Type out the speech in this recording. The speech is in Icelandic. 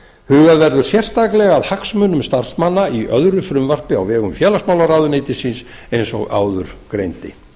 hugað verður sérstaklega að hagsmunum starfsmanna í öðru frumvarpi á vegum félagsmálaráðuneytisins eins og áður greindi